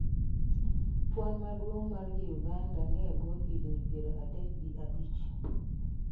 Kwan maduong' mar ji uganda niebwo higni piero adek gi abich.